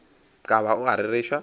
ka ba o a rereša